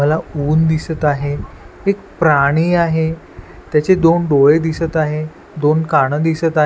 मला ऊन दिसत आहे एक प्राणी आहे त्याचे दोन डोळे दिसत आहे दोन कान दिसत आहे.